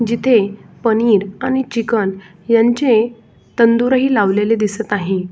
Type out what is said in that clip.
जिथे पनीर आणि चिकन यांचे तंदूर ही लावलेले दिसत आहे.